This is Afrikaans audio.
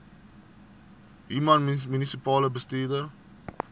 human munisipale bestuurder